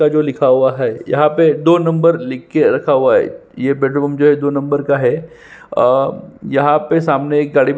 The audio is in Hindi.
यहाँ पे जो लिखा हुआ है यहाँ पे दो नंबर लिख के रखा हुआ है ये पेट्रोल पंप जो है दो नंबर का है और यहाँ पे सामने एक --